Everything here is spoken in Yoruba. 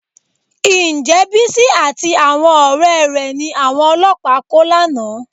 Ǹjẹ́ Bísí àti àwọn ọ̀rẹ́ rẹ̀ ni àwọn ọlọ́pàá kó lánàá?